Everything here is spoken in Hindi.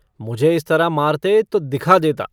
मुझे इस तरह मारते तो दिखा देता।